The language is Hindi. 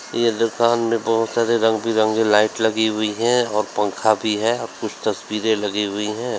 ये दुकान में बहुत सारे रंग बिरंगे लाइट लगी हुई हैं और पंखा भी है और कुछ तस्वीरें लगी हुई है।